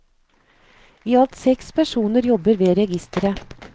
I alt seks personer jobber ved registeret.